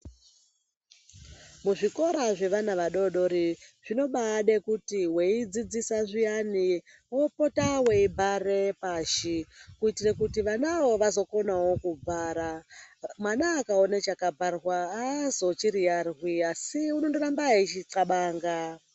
Muzvikora zvevana vadoodori, zvinobaade kuti weidzidzisa zviyani wopota weibhare pashi. Kuitire kuti vanawo vazokonawo kubhara. Mwana akaona chakabharwa aazochiriyarwi asi unondoramba eichiqabanga.